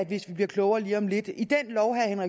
hvis vi bliver klogere lige om lidt